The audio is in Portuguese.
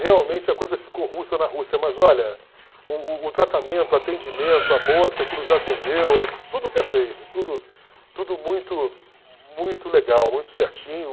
Realmente a coisa ficou russa na Rússia, mas olha, o o o tratamento, o atendimento, a moça que nos atendeu, tudo perfeito, tudo tudo muito muito legal, muito certinho.